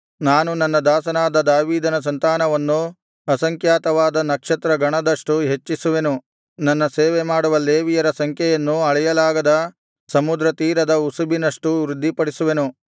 ನಾನು ನನ್ನ ದಾಸನಾದ ದಾವೀದನ ಸಂತಾನವನ್ನು ಅಸಂಖ್ಯಾತವಾದ ನಕ್ಷತ್ರಗಣದಷ್ಟು ಹೆಚ್ಚಿಸುವೆನು ನನ್ನ ಸೇವೆಮಾಡುವ ಲೇವಿಯರ ಸಂಖ್ಯೆಯನ್ನು ಅಳೆಯಲಾಗದ ಸಮುದ್ರತೀರದ ಉಸುಬಿನಷ್ಟು ವೃದ್ಧಿಪಡಿಸುವೆನು